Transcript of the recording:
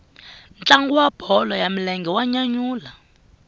ntlangu wa bolo ya milenge wa nyanyula